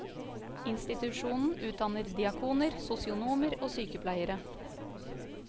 Institusjonen utdanner diakoner, sosionomer og sykepleiere.